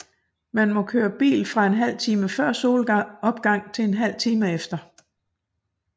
Man må køre bil fra en halv time før solopgang til en halv time efter